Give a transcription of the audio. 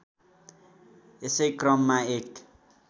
यसै क्रममा एक